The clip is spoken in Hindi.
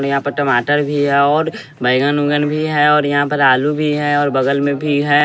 यहाँ पर टमाटर भी है और बैगन उंगन भी है और यहाँ पर आलू भी है और बगल में भी है।